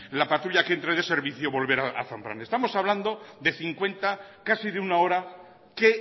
la patrulla que entre de servicio volver a zambrana estamos hablando de cincuenta casi de una hora que